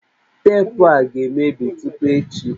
Teepụ a ga-emebi tupu echi